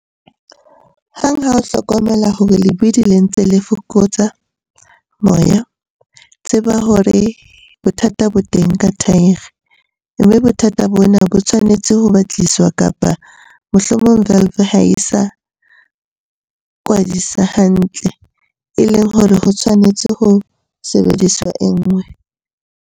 Hang ha o hlokomela hore lebidi le ntse le fokotsa moya, tseba hore bothata bo teng ka thaere, mme bothata bona bo tshwanetse ho batlisiswa kapa mohlomong valve ha e sa kwadisa hantle, e leng hore ho tshwanetse ho sebediswa e nngwe.